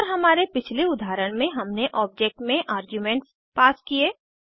और हमारे पिछले उदाहरण में हमने ऑब्जेक्ट में आर्ग्यूमेंट्स पास किये